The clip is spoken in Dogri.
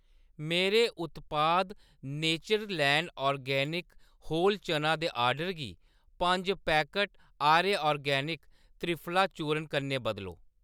मेरे उत्पाद नेचरलैंड ऑर्गेनिक होल चना दे ऑर्डर गी पंज पैकट आर्य ऑर्गेनिक त्रिफला चूर्ण कन्नै बदलो।